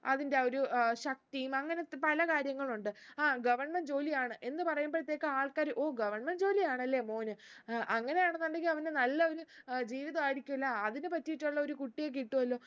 അതിന്റെ ആ ഒരു ഏർ ശക്തിയും അങ്ങനത്തെ പല കാര്യങ്ങളു ഉണ്ട് ആ government ജോലിയാണ് എന്ന് പറയുമ്പൾത്തേക്ക് ആൾക്കാര് ഓ government ജോലിയാണല്ലേ മോന് ഏർ അങ്ങനെയാണെന്നുണ്ടെങ്കില് അവന് നല്ല ഒരു ഏർ ജീവിതായിരിക്കുവല്ലേ അതിന് പറ്റിയിട്ടുള്ള ഒരു കുട്ടിയെ കിട്ടു അല്ലോ